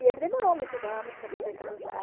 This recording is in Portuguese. E ele demorou muitos anos para poder casar.